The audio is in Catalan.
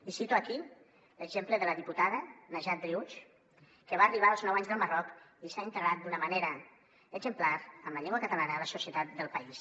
i cito aquí l’exemple de la diputada najat driouech que va arribar als nou anys del marroc i s’ha integrat d’una manera exemplar amb la llengua catalana a la societat del país